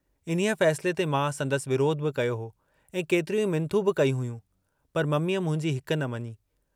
इन्हीअ फैसिले ते मां संदसि विरोध बि कयो हो ऐं केतिरियूं मिन्थू बि कयूं हुयूं, पर मम्मीअ मुंहिंजी हिक न मंञी।